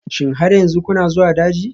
Shin har yanzu kuna zuwa daji?